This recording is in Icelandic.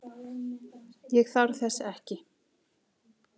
Ég þarf þess ekki.